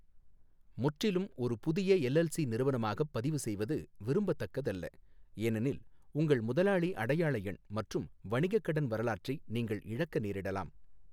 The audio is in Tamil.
முற்றிலும் ஒரு புதிய எல்எல்சி நிறுவனமாகப் பதிவுசெய்வது விரும்பத்தக்கதல்ல, ஏனெனில் உங்கள் முதலாளி அடையாள எண் மற்றும் வணிகக் கடன் வரலாற்றை நீங்கள் இழக்க நேரிடலாம்.